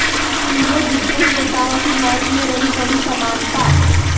तीनों दिग्गज नेताओं की मौत में रही बड़ी समानता